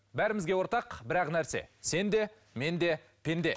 бәрімізге ортақ бір ақ нәрсе сен де мен де пенде